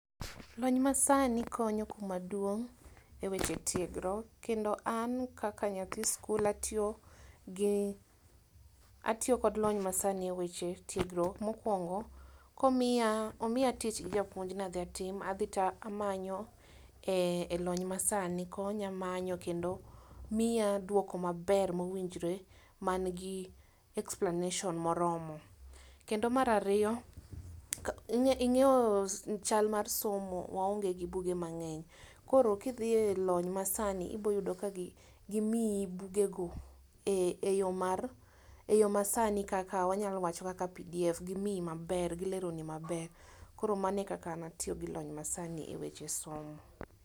Lony ma sani konyo kuma duong' eweche tiegruok. Kendo an kaka nyathi skul atiyo gi atiyo kod lony ma sani e weche tiegruok. Mokwongo komiya tich gi japuonj nadhi atim tadhi tamanye lony ma sani konya manyo kendo miya duoko maber mowinjore man gi explanation moromo. Kendo mar ariyo ing'e ing'eyo chal mar somo waonge gi buge mang'eny , koro kidhi e lony ma sani ibo yudo ka gi gimii buge go e yoo mar eyo masani e lony masani kaka pdf gimiyi mabe gilero ni maber. Koro mane kaka tiyo gi lony ma sani e weche somo.